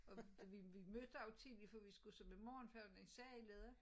Og vi vi mødte også tidligt for vi skulle så med morgenfærgen der sejlede